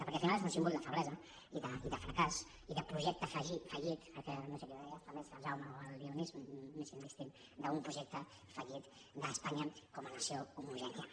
perquè al final és un símbol de feblesa i de fracàs i de projecte fallit no sé qui ho deia el jaume o el dionís m’és indistint d’un projecte fallit d’espanya com a nació homogènia